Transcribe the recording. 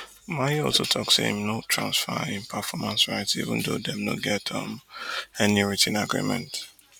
maye also tok say im no transfer im performers rights even though dem no get um any writ ten agreement